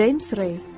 James Ray.